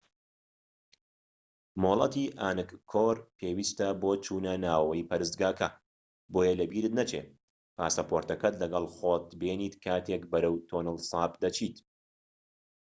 مۆڵەتی ئانگکۆر پێویستە بۆ چوونەناوەوەی پەرستگاکە بۆیە لەبیرت نەچێت پاسەپۆرتەکەت لەگەڵ خۆت بێنیت کاتێک بەرەو تۆنڵ ساپ دەچێت